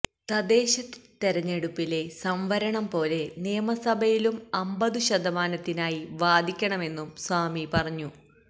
തദ്ദേശ തെരഞ്ഞെടുപ്പിലെ സംവരണം പോലെ നിയമസഭയിലും അമ്പതു ശതമാനത്തിനായി വാദിക്കണമെന്നും സ്വാമി പറഞ്ഞു